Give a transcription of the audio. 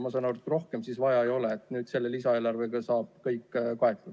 Ma saan aru, et rohkem siis vaja ei ole ja selle lisaeelarvega saab kõik kaetud.